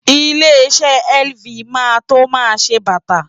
Ilé-iṣẹ́ LV máa tó máa ṣe bàtà.